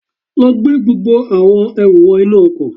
Lọ gbé gbogbo àwọn ẹrù wọ inú ọkọ̀